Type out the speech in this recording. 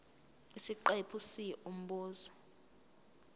isiqephu c umbuzo